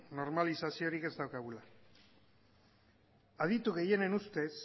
normalizaziorik ez daukagula aditu gehienen ustez